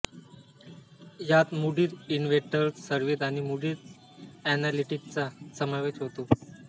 यात Moody's investors service आणि Moody's एनालिटिक्सचा समावेश होतो